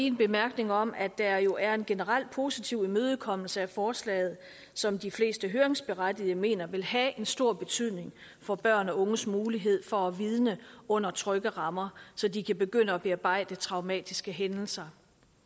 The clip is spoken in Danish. en bemærkning om at der jo er en generelt positiv imødekommelse af forslaget som de fleste høringsberettigede mener vil have en stor betydning for børn og unges mulighed for at vidne under trygge rammer så de kan begynde at bearbejde traumatiske hændelser